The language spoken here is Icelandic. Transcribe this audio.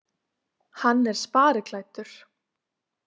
Hann er spariklæddur.